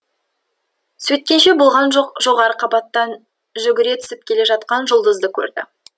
сөйткенше болған жоқ жоғарғы қабаттан жүгіре түсіп келе жатқан жұлдызды көрді